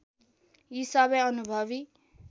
यी सबै अनुभवी